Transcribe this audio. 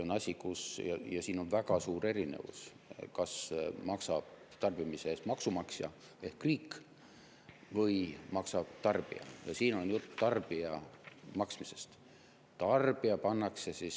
On väga suur erinevus, kas tarbimise eest maksab maksumaksja ehk riik või maksab tarbija, ja siin on jutt tarbija maksmisest.